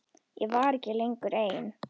Ég var ekki lengur ein.